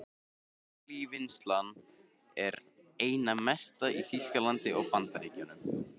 Kalívinnsla er einna mest í Þýskalandi og Bandaríkjunum.